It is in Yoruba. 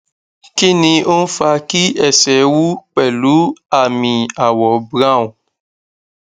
kí ni ó ń fa kí ẹsẹ wú pẹlú aami àwọ brown